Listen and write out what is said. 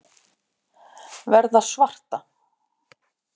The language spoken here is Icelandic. Verða svarta.